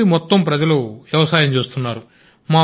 ఊరి మొత్తం ప్రజలు వ్యవసాయం చేస్తున్నారు